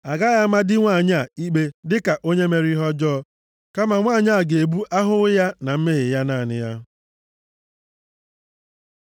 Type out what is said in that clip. A gaghị ama di nwanyị a ikpe dịka onye mere ihe ọjọọ, kama nwanyị a ga-ebu ahụhụ ya na mmehie ya naanị ya.’ ”